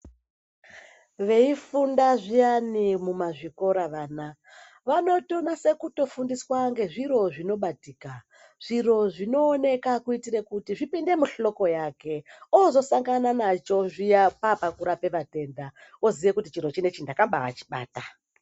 Veifunda zviyani mumazvikora vana vanotonasa kutofundiswa ngezviro zvinobatika, zviro zvinooneka kuitire kuti zvipinde muhloko yake oozosangana nacho zviya paapakurapa vatenda oziya kuti chiro chinechi ndakabaa chibata.